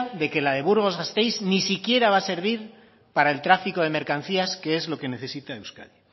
de que la de burgos gasteiz ni siquiera va a servir para el tráfico de mercancías que es lo que necesita euskadi